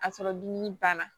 A sɔrɔ dumuni banna